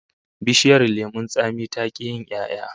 Bishiyar lemon tsami ta ki yin 'ya'ya